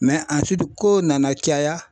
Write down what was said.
kow nana caya